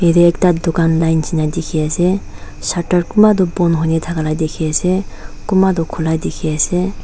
yatae ekta dukan line nishina dikhiase shutter kunba toh bon hoina thaka la dikhiase kunba toh khula dikhiase.